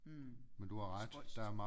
Hm spøjst